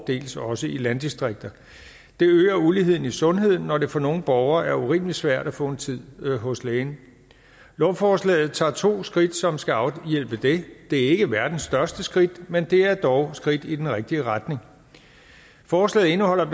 dels også i landdistrikterne det øger uligheden i sundheden når det for nogle borgere er urimelig svært at få en tid hos lægen lovforslaget tager to skridt som skal afhjælpe det det er ikke verdens største skridt men det er dog skridt i den rigtige retning forslaget indeholder